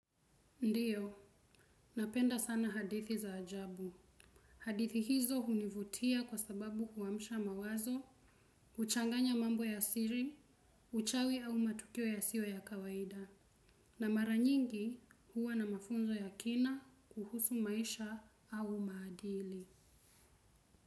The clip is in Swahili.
Ndiyo, napenda sana hadithi za ajabu. Hadithi hizo hunivutia kwa sababu huamsha mawazo, huchanganya mambo ya siri, uchawi au matukio yasiyo ya kawaida. Na maranyingi huwa na mafunzo ya kina kuhusu maisha au maadili.